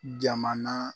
Jamana